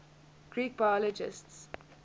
greek biologists